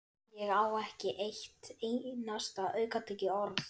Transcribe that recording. Ég á ekki eitt einasta aukatekið orð!